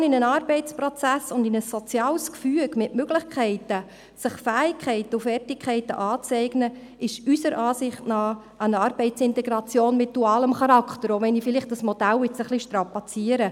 Die Integration in einen Arbeitsprozess und in ein soziales Gefüge mit Möglichkeiten, sich Fähigkeiten und Fertigkeiten anzueignen, ist unserer Ansicht nach eine Arbeitsintegration mit dualem Charakter, auch wenn ich dieses Modell ein bisschen strapaziere.